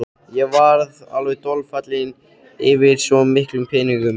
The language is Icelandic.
Ég varð alveg dolfallinn yfir svo miklum peningum.